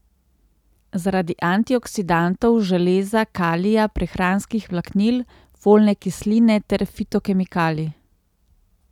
Zaradi antioksidantov, železa, kalija, prehranskih vlaknin, folne kisline ter fitokemikalij.